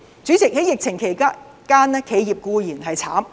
主席，在疫情期間，企業固然苦不堪言。